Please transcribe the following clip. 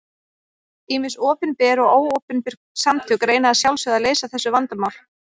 Ýmis opinber og óopinber samtök reyna að sjálfsögðu að leysa þessu vandamál.